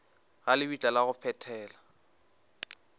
ga lebitla la go phethela